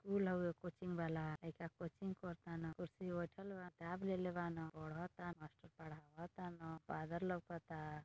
School हउवे coaching वाला लइका कोचिंग कर ताड़न कुर्सी प बइठल बाड़न किताब लेले बाड़न पढ़ ता मास्टर पढ़ाव ताडन फादर लौक ता।